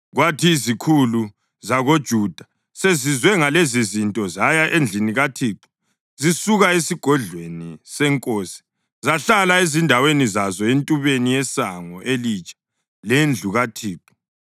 Kwathi izikhulu zakoJuda sezizwe ngalezizinto, zaya endlini kaThixo zisuka esigodlweni senkosi zahlala ezindaweni zazo entubeni yeSango elitsha lendlu kaThixo.